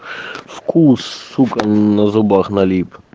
вкус сука на зубах налип